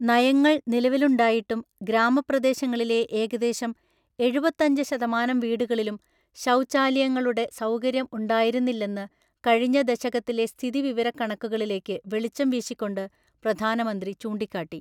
നയങ്ങള്‍ നിലവിലുണ്ടായിട്ടും ഗ്രാമപ്രദേശങ്ങളിലെ ഏകദേശം എഴുപത്തഞ്ച് ശതമാനം വീടുകളിലും ശൗച്യാലയങ്ങളുടെ സൗകര്യം ഉണ്ടായിരുന്നില്ലെന്ന് കഴിഞ്ഞ ദശകത്തിലെ സ്ഥിതിവിവരക്കണക്കുകളിലേക്ക് വെളിച്ചം വീശിക്കൊണ്ട്, പ്രധാനമന്ത്രി ചൂണ്ടിക്കാട്ടി.